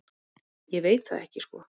Ég veit það ekki sko.